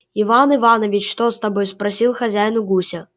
иван иваныч что с тобой спросил хозяин у гуся